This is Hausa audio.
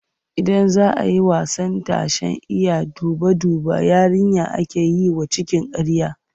Idan za a yi wasan tashen Iya duba-duba, yarinya ake yi wa cikin ƙarya.